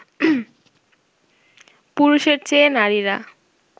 পুরুষের চেয়ে নারীরা